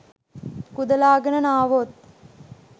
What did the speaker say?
කුදලාගෙන නාවොත්